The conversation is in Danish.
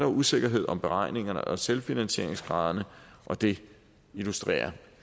usikkerhed om beregningerne og selvfinansieringsgraderne og det illustrerer